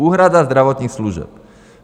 Úhrada zdravotních služeb.